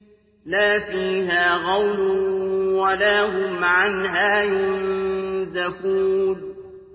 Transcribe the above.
لَا فِيهَا غَوْلٌ وَلَا هُمْ عَنْهَا يُنزَفُونَ